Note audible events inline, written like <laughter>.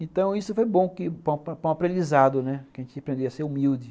Então isso foi bom <unintelligible> para um aprendizado, né, que a gente aprendia a ser humilde.